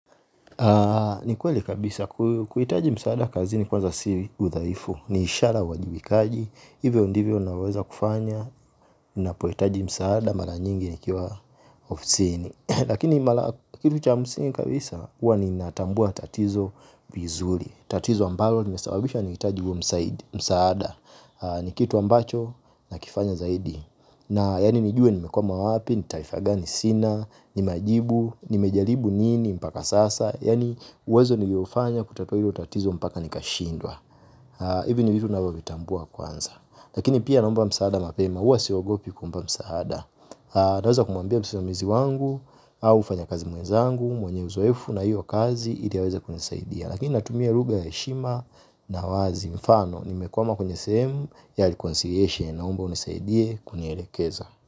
Ni kweli kabisa kuhitaji msaada kazini kwanza si uthaifu. Ni ishara ya uwajibikaji hivyo ndivyo naweza kufanya. Napohitaji msaada mara nyingi nikiwa ofisini. Lakini mara kitu cha msingi kabisa huwa ninatambua tatizo vizuri. Tatizo ambalo limesababishwa nahitaji msaada. Ni kitu ambacho nakifanya zaidi. Na yaani nijue nimekwama wapi. Ni taifa gani sina. Ni majibu nimejaribu nini mpaka sasa yaani uwezo niliofanya kutatua hilo utatizo mpaka nikashindwa hivi ni vitu navovitambua kwanza. Lakini pia naomba msaada mapema huwa siogopi kuomba msaada. Naweza kumwambia msimamizi wangu au mfanya kazi mwezangu mwenye uzoefu na hiyo kazi ili aweze kunisaidia. Lakini natumia lugha ya heshima. Na wazi mfano nimekuama kwenye sehemu. Yali consideration. Naomba unisaidie kunielekeza.